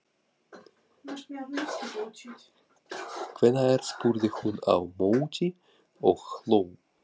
Hvenær? spurði hún á móti og hló.